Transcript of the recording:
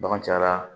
Bagan cayara